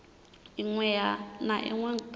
inwe na inwe a bannga